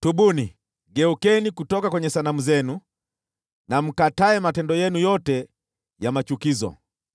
Tubuni! Geukeni kutoka kwenye sanamu zenu na mkatae matendo yenu yote ya machukizo!